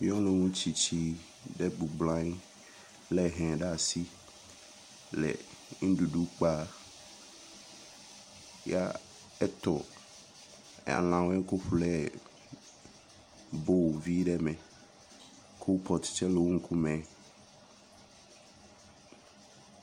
Nyɔnutsitsi ɖe bɔbɔ nɔ anyi lé he ɖe asi le nuɖuɖu kpam, ya eto anɔ ŋku fle bowl vi ɖe me, kɔlpɔt tse le eƒe ŋkume.